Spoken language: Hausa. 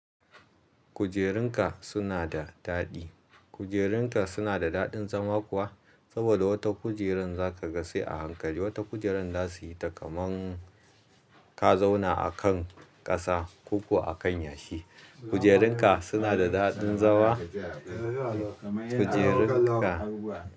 Kujerunka suna da daɗi. Kujerunka suna da daɗin zama kuwa saboda wata kujeran za ka ga sai a hankali. Wata kujeran za su yi ta kaman ka zauna a kan kasa ko kuwa a kan yashi. Kujerunka suna da daɗin zama? Kujerunka.